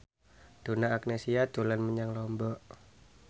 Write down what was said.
Donna Agnesia dolan menyang Lombok